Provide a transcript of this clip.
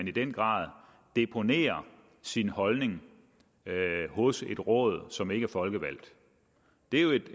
i den grad deponerer sin holdning hos et råd som ikke er folkevalgt det er jo